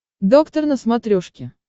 доктор на смотрешке